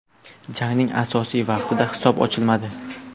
Jangning asosiy vaqtida hisob ochilmadi.